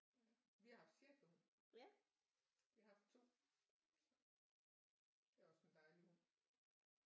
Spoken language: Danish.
Vi har haft schæferhund vi har haft 2 det er også en dejlig hund